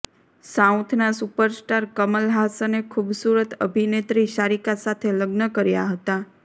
સાઉથના super star Kamal હાસને ખુબસુરત અભિનેત્રી સારિકા સાથે લગ્ન કર્યા હતા